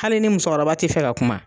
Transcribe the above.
Hale ni muso kɔrɔba tɛ fɛ ka kuma.